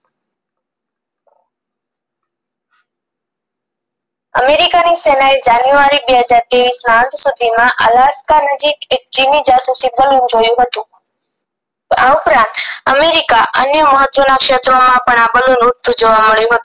અધિકારી સેનએ જાન્યુઆરી બે હજાર ત્રેવીસ માં અંત સુધીમાં આલાસ્કા નજીક એક ચીની જાસૂસી બલૂન જોયું હતું આ ઉપરાંત અમેરિકાના અન્ય મહત્વના ક્ષેત્રોમાં પણ આ બલૂન ઉડતું જોવા મડયું હતું